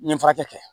N ye furakɛ kɛ